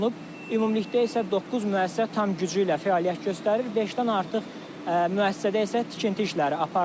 Ümumilikdə isə doqquz müəssisə tam gücü ilə fəaliyyət göstərir, beşdən artıq müəssisədə isə tikinti işləri aparılır.